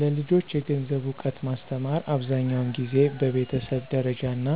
ለልጆች የገንዘብ እውቀት ማስተማር አብዛኛውን ጊዜ በቤተሰብ ደረጃ እና